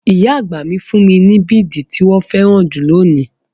Ìyá àgbà fún mi bidi tí wọn féràn jù lónìí.